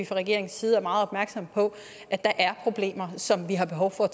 fra regeringens side er meget opmærksomme på at der er problemer som vi har behov for